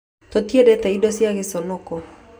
Tũtiendete indo cia gĩconoko